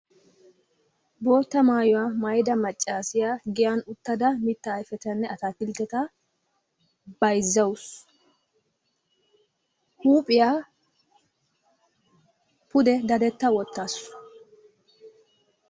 Bootta maayuwaa maayida maccaasiya giyan uttada mitta ayfetanne ataakiltteta bayzzawusu. huuphiyaa pude dadetta wottaasu.